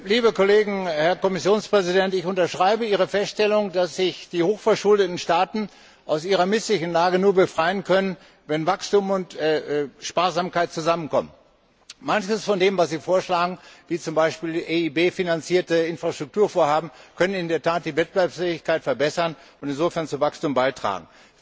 Herr Präsident, liebe Kolleginnen und Kollegen! Herr Kommissionspräsident, ich unterschreibe Ihre Feststellung, dass sich die hochverschuldeten Staaten aus ihrer misslichen Lage nur befreien können, wenn Wachstum und Sparsamkeit zusammenkommen. Manches von dem, was Sie vorschlagen, wie zum Beispiel EIB finanzierte Infrastrukturvorhaben, können in der Tat die Wettbewerbsfähigkeit verbessern und insofern zu Wachstum beitragen.